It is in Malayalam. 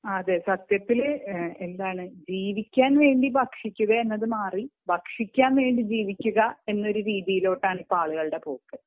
അതെ സത്യത്തിൽ ജീവിക്കാൻ വേണ്ടി ഭക്ഷിക്കുക എന്നത് മാറി ഭക്ഷിക്കാൻ വേണ്ടി ജീവിക്കുക എന്ന രീതിയിലോട്ടാണ് ആളുകളുടെ പോക്ക്